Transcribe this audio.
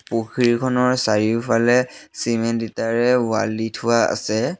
পুখুৰীখনৰ চাৰিওফালে চিমেণ্ট ইটাৰে ৱাল দি থোৱা আছে।